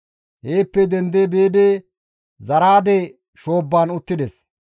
Heeppe dendi biidi Zaraade shoobban uttides.